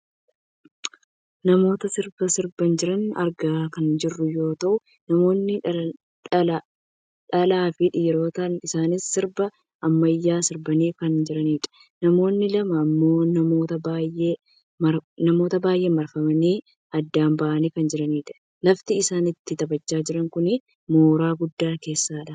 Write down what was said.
namoota sirba sirbaa jiran argaa kan jirru yoo ta'u namooni dhalaa fi dhiirotadha. isaanis sirba ammayyaa sirbaaa kan jiranidha. namoonni lama ammoo namoota baayyeen marfamani adda bahanii kan jiranidha. lafti isaan itti taphachaa jiran kun mooraa guddaa keessadha.